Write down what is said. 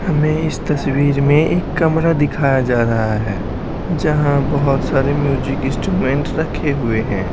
हमें इस तस्वीर में एक कमरा दिखाया जा रहा है जहां बहुत सारे म्यूजिक इंस्ट्रूमेंट रखे हुए हैं।